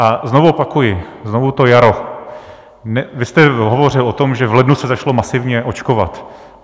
A znovu opakuji, znovu to jaro: vy jste hovořil o tom, že v lednu se začalo masivně očkovat.